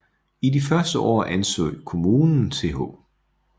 I de første år anså kommunen Th